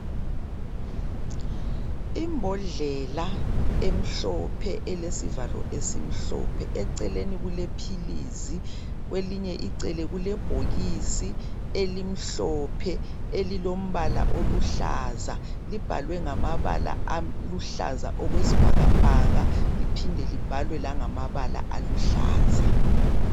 Imbodlela emhlophe elesivalo esimhlophe eceleni kulephilizi kwelinye icele kulebhokisi elimhlophe elilombala oluhlaza , libhalwe ngamabala aluhlaza okwesibhakabhaka liphinde libhalwe nangamabala aluhlaza .